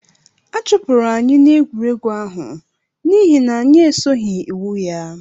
Achụpụrụ anyị n'egwuregwu ahụ n'ihi na anyị esoghị iwu ya